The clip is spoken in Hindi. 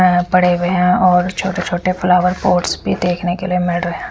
अ पड़े हुए हैं और छोटे छोटे फ्लावर पॉट्स भी देखने के लिए मिल रहे हैं।